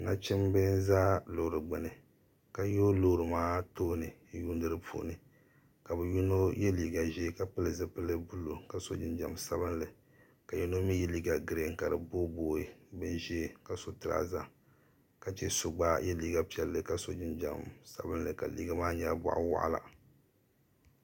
nachimba n-za loori gbuni ka yooi loori maa tooni n-yuundi di puuni ka bɛ yino ye liiga ʒee ka pili zipil' buluu ka so jinjam sabilinli ka yino mi ye liiga girin ka di boobooi binʒee ka so tiraaza ka che so gba ye liiga piɛlli ka so jinjam sabilnli ka liiga maa nyɛla bɔɣ' waɣila